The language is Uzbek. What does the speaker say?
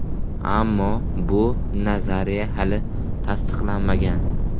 Ammo bu nazariya hali tasdiqlanmagan.